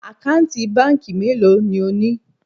Àkáǹtì báńkì mélòó ni o ni?